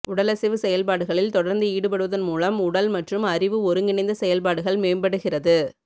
உடலசைவு செயல்பாடுகளில் தொடர்ந்து ஈடுபடுவதன் மூலம் உடல் மற்றும் அறிவு ஒருங்கிணைந்த செயல்பாடுகள் மேம்படுகிறது